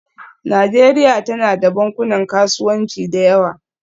Najeriya tana da bankunan kasuwanci da yawa